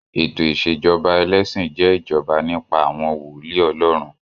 Ètò ìṣèjọba ẹlẹ́sìn jẹ́ ìjọba nípa àwọn wòólì Ọlọ́run.